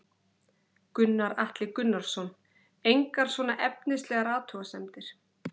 Gunnar Atli Gunnarsson: Engar svona efnislegar athugasemdir?